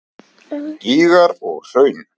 Gígar og hraun